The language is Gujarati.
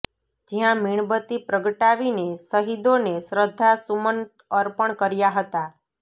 જયાં મીણબત્તી પ્રગટાવીને શહીદોને શ્રધ્ધા સુમન અર્પણ કર્યા હતા